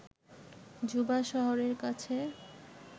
Juba শহরের কাছে